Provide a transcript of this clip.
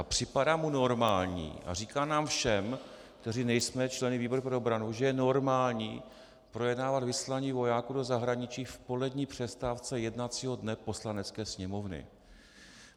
A připadá mu normální a říká nám všem, kteří nejsme členy výboru pro obranu, že je normální projednávat vysílání vojáků do zahraničí v polední přestávce jednacího dne Poslanecké sněmovny.